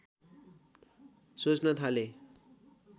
सोच्न थाले